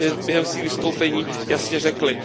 během svých vystoupení jasně řekli.